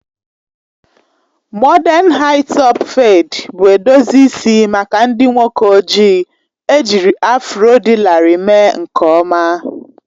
Mọden haị-topụ fedi bụ edozi isi maka ndị nwoke ojii, ejiri afro dị larịị mee nke ọma